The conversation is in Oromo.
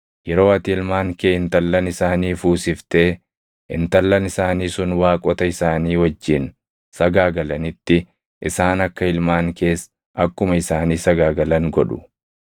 Yeroo ati ilmaan kee intallan isaanii fuusiftee, intallan isaanii sun waaqota isaanii wajjin sagaagalanitti isaan akka ilmaan kees akkuma isaanii sagaagalan godhu.